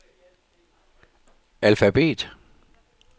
alfabet